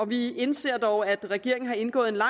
vi indser dog at regeringen har indgået en lang